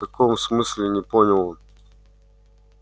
в каком смысле не понял он